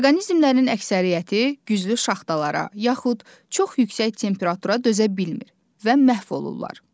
Orqanizmlərin əksəriyyəti güclü şaxtalara yaxud çox yüksək temperatura dözə bilmir və məhv olur.